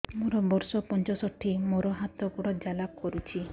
ମୋର ବର୍ଷ ପଞ୍ଚଷଠି ମୋର ହାତ ଗୋଡ଼ ଜାଲା କରୁଛି